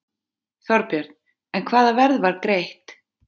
Þorbjörn: En hvaða verð var greitt?